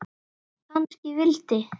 Kannski vildi